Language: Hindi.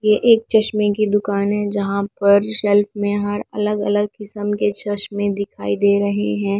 ये एक चश्मे की दुकान है जहाँ पर शेल्फ में हर अलग अलग किस्म के चश्मे दिखाई दे रहे हैं।